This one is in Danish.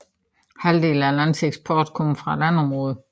Halvdelen af landets eksport kommer fra landområderne